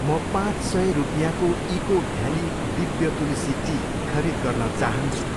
म पाँच सय रुपियाँको eco valley Divya Tulsi tea खरिद गर्न चाहान्छु।